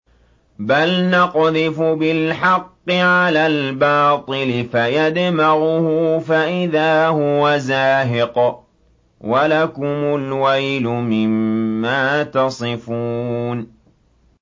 بَلْ نَقْذِفُ بِالْحَقِّ عَلَى الْبَاطِلِ فَيَدْمَغُهُ فَإِذَا هُوَ زَاهِقٌ ۚ وَلَكُمُ الْوَيْلُ مِمَّا تَصِفُونَ